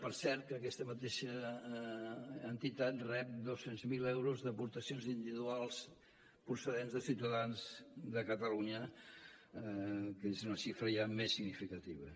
per cert que aquesta mateixa entitat rep dos cents miler euros d’aportacions individuals procedents de ciutadans de catalunya que és una xifra ja més significativa